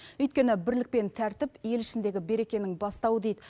өйткені бірлік пен тәртіп ел ішіндегі берекенің бастауы дейді